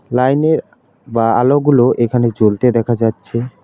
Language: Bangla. লাইনের বা আলোগুলো এখানে জ্বলতে দেখা যাচ্ছে।